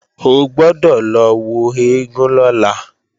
O gbọ́dọ̀ lọ wo eégún lọ́la!